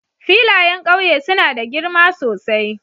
Filayen ƙauye suna da girma sosai